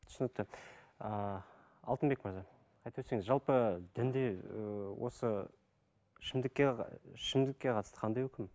түсінікті ыыы алтынбек мырза айтып өтсеңіз жалпы дінде ыыы осы ішімдікке ішімдікке қатысты қандай үкім